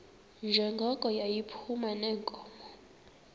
njengoko yayiphuma neenkomo